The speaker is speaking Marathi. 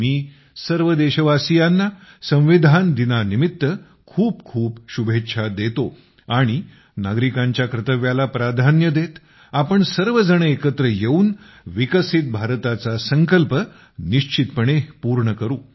मी सर्व देशवासियांना संविधान दिनानिमित्त खूप खूप शुभेच्छा देतो आणि नागरिकांच्या कर्तव्याला प्राधान्य देत आपण सर्वजण एकत्र येऊन विकसित भारताचा संकल्प निश्चितपणे पूर्ण करू